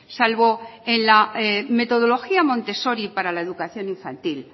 salvo en la metodología montessori para la educación infantil